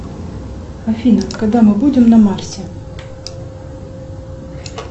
афина когда мы будем на марсе